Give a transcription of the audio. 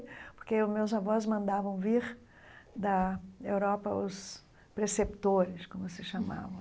Porque meus avós mandavam vir da Europa os preceptores, como se chamavam.